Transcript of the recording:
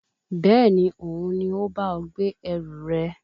Bẹ́ẹ̀ni, Òun ni ó bá ọ gbé ẹrù rẹ